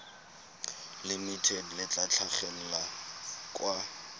limited le tla tlhagelela kwa